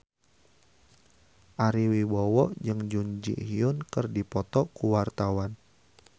Ari Wibowo jeung Jun Ji Hyun keur dipoto ku wartawan